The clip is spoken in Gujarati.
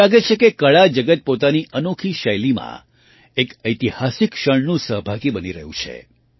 એવું લાગે છે કે કળા જગત પોતાની અનોખી શૈલીમાં એક ઐતિહાસિક ક્ષણનું સહભાગી બની રહ્યું છે